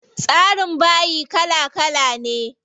Tsarin bayi kala kala ne.